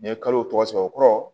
N'i ye kalo tɔgɔ sɔrɔ o kɔrɔ